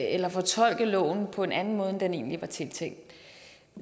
eller fortolke loven på en anden måde end det egentlig var tiltænkt